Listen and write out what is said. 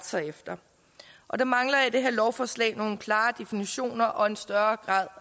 sig efter og der mangler jeg i det her lovforslag nogle klare definitioner og en større grad